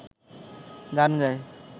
গান গায়